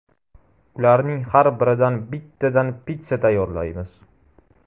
Ularning har biridan bittadan pitssa tayyorlaymiz.